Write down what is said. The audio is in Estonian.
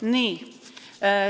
Nii.